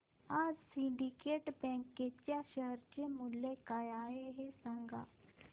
आज Syndicate Bank च्या share चे मूल्य काय आहे हे सांगा